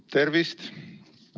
Tervist!